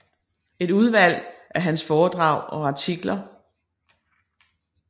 Et udvalg af hans foredrag og artikler